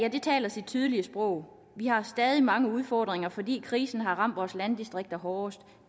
taler sit tydelige sprog og vi har stadig mange udfordringer fordi krisen har ramt vores landdistrikter hårdest